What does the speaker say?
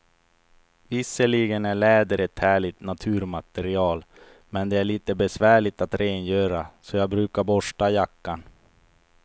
Visserligen är läder ett härligt naturmaterial, men det är lite besvärligt att rengöra, så jag brukar borsta jackan.